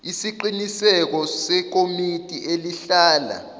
isiqiniseko sekomiti elihlala